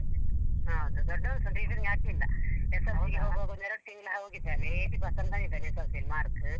ಹ ಹೌದು ದೊಡ್ಡವನ್ ಸಾ tuition ಗೆ ಹಾಕ್ಲಿಲ್ಲ. SSLC ಗೆ ಹೋಗುವಾಗ ಒಂದ್ ಎರಡು ತಿಂಗ್ಳು ಹೋಗಿದ್ದಾನೆ eighty percent ಬಂದಿದ್ದಾನೆ SSLC ಅಲ್ಲಿ mark .